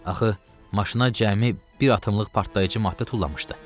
Axı maşına cəmi bir atımlıq partlayıcı maddə tullamışdı.